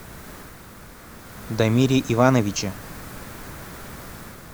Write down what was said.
дамире ивановиче